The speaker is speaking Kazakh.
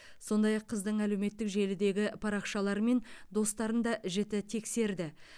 сондай ақ қыздың әлеуметтік желідегі парақшалары мен достарын да жіті тексерді